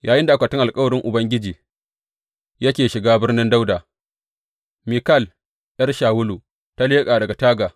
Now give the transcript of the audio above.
Yayinda akwatin alkawarin Ubangiji yake shiga Birnin Dawuda, Mikal ’yar Shawulu ta leƙa daga taga.